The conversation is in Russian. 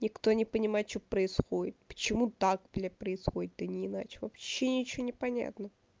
никто не понимает что происходит почему так бля происходит а не иначе вообще ничего не понятно